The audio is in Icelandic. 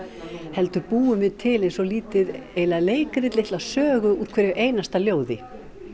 heldur búum við til eins og lítið leikrit litla sögu úr hverju einasta ljóði